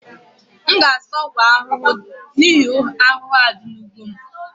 M ga-azụta ọgwụ ahụhụ n'ihi ahụhụ a dị n'ugbo m